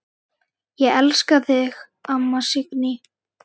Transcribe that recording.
Ég elska þig, amma Signý.